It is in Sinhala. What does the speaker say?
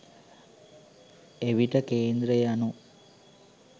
එවිට කේන්ද්‍රය යනු